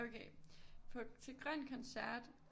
Okay til Grøn Koncert